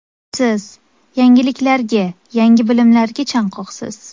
Siz yangiliklarga, yangi bilimlarga chanqoqsiz.